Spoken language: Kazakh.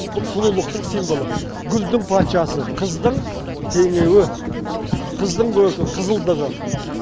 бұл сұлулықтың символы гүлдің патшасы қыздың теңеуі қыздың көркі қызылдығы